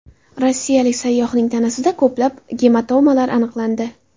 Rossiyalik sayyohning tanasida ko‘plab gematomalar aniqlandi.